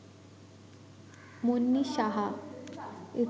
Munni Saha